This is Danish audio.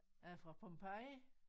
Er det fra Pompeji?